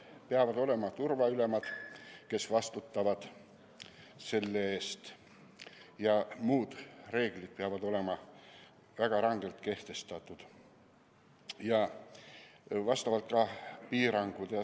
Peavad olema turvaülemad, kes vastutavad selle eest, ja ka muud reeglid peavad olema väga rangelt kehtestatud, samuti piirangud.